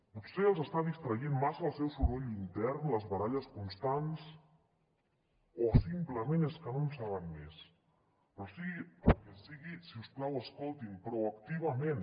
potser els està distraient massa el seu soroll intern les baralles constants o simplement és que no en saben més però sigui el que sigui si us plau escoltin proactivament